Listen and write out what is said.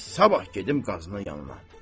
elə sabah gedim Qazının yanına.